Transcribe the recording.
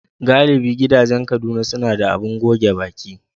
Galibi gidajen Kaduna suna da abin goge baki.